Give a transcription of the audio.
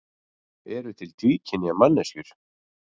Eru til tvíkynja manneskjur?